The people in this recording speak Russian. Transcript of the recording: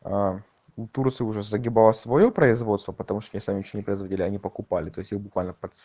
аа у турции уже загибалось своё производство потому что они сами ничего не производили они покупали то есть их буквально подс